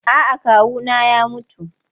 A'a kawuna ya mutu.